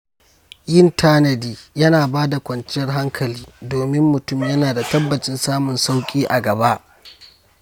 Yin tanadi yana bada kwanciyar hankali, domin mutum yana da tabbacin samun sauƙi a gaba.